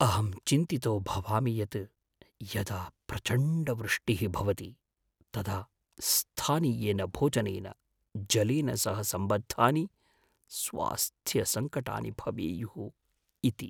अहं चिन्तितो भवामि यत् यदा प्रचण्डवृष्टिः भवति तदा स्थानीयेन भोजनेन, जलेन सह सम्बद्धानि स्वास्थ्यसङ्कटानि भवेयुः इति।